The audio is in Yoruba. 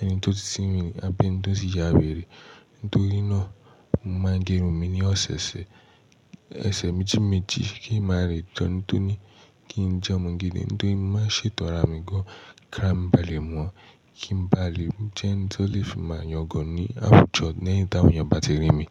ẹni tó ti sínwin ní abi ẹni tó ti ya wèrè. Nítorí náà mo máa ń gé irun mi ní ọ̀sẹ̀ méjì méjì kí n má lè jẹ́ ẹni tó ní kí n jẹ́ ọmọ gidi. Nítorí mo má n ṣètọ́ ara mi gan-an kí ara mi ba lè mọ̀ kí n ba lè jẹ́ ẹni tí ó lè fi màá yàn gàn ní àwùjọ lẹ́yìn táwọn èèyàn bá ti rí mi.